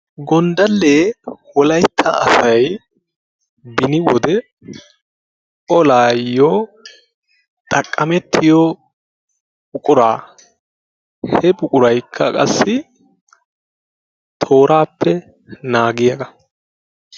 Gonddallee wolaytta asay beni wode olaayyo xaqqamettiyo buquraa he buquraykka qassi tooraappe naagiyagaa.